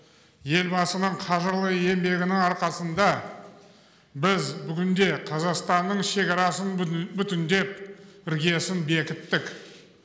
елбасының қажырлы еңбегінің арқасында біз бүгінде қазақстанның шекарасын бүтіндеп іргесін бекіттік